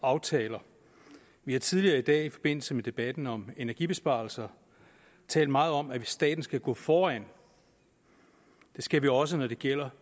aftaler vi har tidligere i dag i forbindelse med debatten om energibesparelser talt meget om at staten skal gå foran det skal den også når det gælder